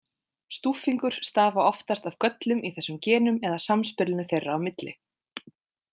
Stúffingur stafa oftast af göllum í þessum genum eða samspilinu þeirra á milli.